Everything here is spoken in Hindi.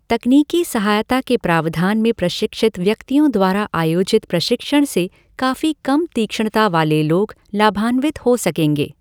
तकनीकी सहायता के प्रावधान में प्रशिक्षित व्यक्तियों द्वारा आयोजित प्रशिक्षण से काफी कम तीक्ष्णता वाले लोग लाभान्वित हो सकेंगे।